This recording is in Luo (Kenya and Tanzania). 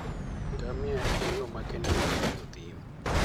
Ngamia en yo makende mar ng'iyo thim.